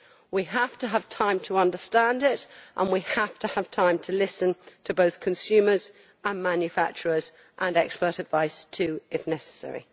We have to have time to understand it and we have to have time to listen to both consumers and manufacturers, and to expert advice too if necessary.